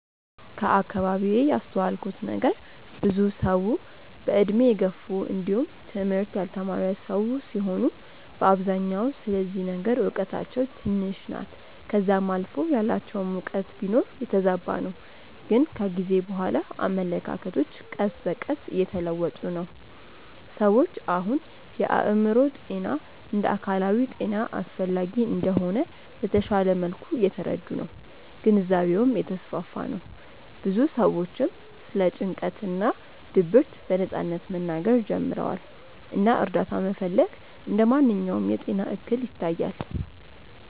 ከአከባቢዬ ያስተዋልኩት ነገር ብዙ ሰዉ በእድሜ የገፉ እንዲውም ትምህርት ያልተማረ ሰዉ ሲሆኑ በአብዛኛው ስለዚህ ነገር እውቀታቸው ትንሽ ናት ከዛም አልፎ ያላቸውም እውቀት ቢኖር የተዛባ ነው ግን ከጊዜ በኋላ አመለካከቶች ቀስ በቀስ እየተለወጡ ነው። ሰዎች አሁን የአእምሮ ጤና እንደ አካላዊ ጤና አስፈላጊ እንደሆነ በተሻለ መልኩ እየተረዱ ነው ግንዛቤውም እየተስፋፋ ነው ብዙ ሰዎችም ስለ ጭንቀት እና ድብርት በነጻነት መናገር ጀምረዋል እና እርዳታ መፈለግ እንደ ማንኛውም የጤና እክል ይታያል።